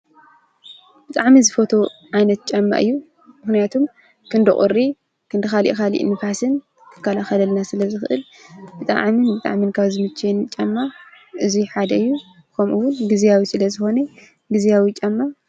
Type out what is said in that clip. ብጣዕሚ ዝፈትዎ ዓይነት ጫማ እዩ፡፡ ምክንያቱ ክንዲ ቁሪ ክንዲ ካሊእ ካሊእ ንፋስን ክከላከልና ስለ ዝክእል ብጣዕሚ ካብ ዝምችወኒ ጫማ እዚ ሓደ እዩ፡፡ ከምኡውን ግዝያዊ ስለ ዝኮነ ግዝያዊ ጫማ